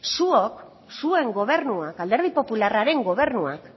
zuok zuen gobernua alderdi popularraren gobernuak